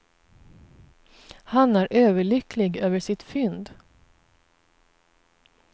Han är överlycklig över sitt fynd.